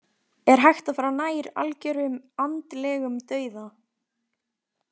Er hægt að fara nær algjörum andlegum dauða?